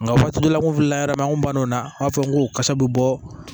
Nka waati dɔ la n wulila an kun banna o na an b'a fɔ n ko kasa bɛ bɔ